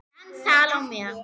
Dans Salóme.